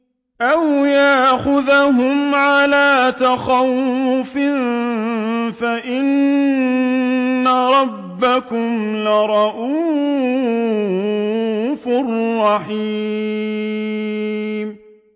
أَوْ يَأْخُذَهُمْ عَلَىٰ تَخَوُّفٍ فَإِنَّ رَبَّكُمْ لَرَءُوفٌ رَّحِيمٌ